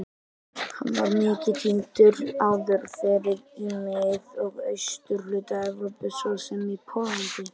Hann var mikið tíndur áður fyrr í mið- og austurhluta Evrópu svo sem í Póllandi.